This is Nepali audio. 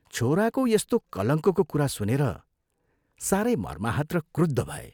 छोराको यस्तो कलङ्कको कुरा सुनेर साह्रै मर्माहत र क्रुद्ध भए।